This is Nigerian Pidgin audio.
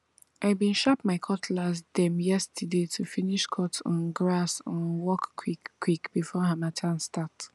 i bin sharp my cutlass dem yeaterday to finish cut um grass um work quick quick before harmattan start